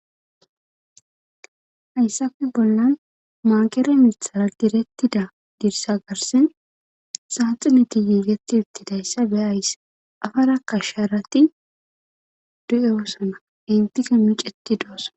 hayssafe bollan maagere mithara direttida dirsa garsen saaxineti yiigeti ittidayssa be ays afara kasharati du7ewossana intike miceti do7osana